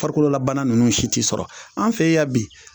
Farikololabana ninnu si t'i sɔrɔ an' fe yan bi